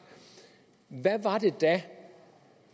hvad var det da